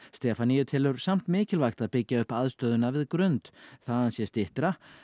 Stefanía telur samt mikilvægt að byggja upp aðstöðu við Grund þaðan sé styttra